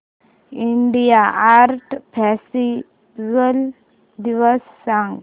India art festival दिवस सांग